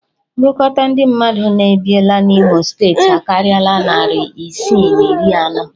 Ngụkọta ndị mmadụ na-ebiela n'Imo steeti akarịala narị isii na iri anọ